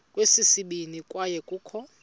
kweyesibini kwaye kukho